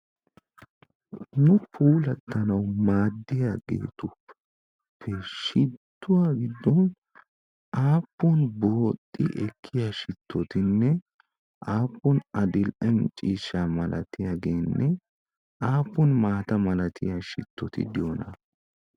nu puulattanawu maaddiyaageetu shittuwaa giddon aappun booxxi ekkiya shittotinne aappun adil77e ciishsha malatiyaageenne aappun maata malatiya shittoti diyoona?